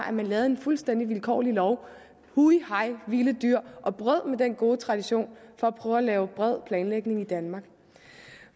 at man lavede en fuldstændig vilkårlig lov hu hej vilde dyr og brød med den gode tradition for at prøve at lave bred planlægning i danmark